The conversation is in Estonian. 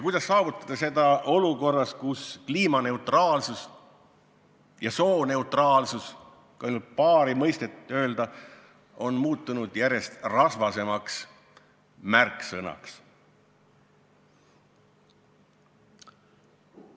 Kuidas saavutada seda eesmärki olukorras, kus kliimaneutraalsus ja sooneutraalsus – kui öelda ainult paari mõistet – on muutunud järjest rasvasemateks märksõnadeks?